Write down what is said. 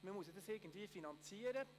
Man müsste es irgendwie finanzieren.